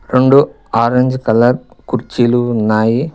రెండు orange colour కుర్చీలు ఉన్నాయి.